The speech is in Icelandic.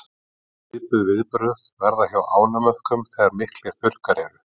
Svipuð viðbrögð verða hjá ánamöðkum þegar miklir þurrkar eru.